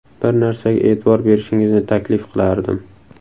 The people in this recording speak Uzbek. Bir narsaga e’tibor berishingizni taklif qilardim.